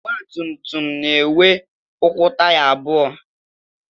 Ọgbatumtum na-enwe ụkwụ taya abụọ